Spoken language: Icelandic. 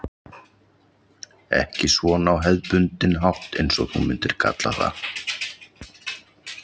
Ekki svona á hefðbundinn hátt eins og þú myndir kalla það.